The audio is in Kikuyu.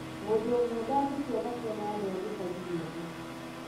Mũndũ ũmwe dangĩtua matua ma andũ a gĩchagi gĩothe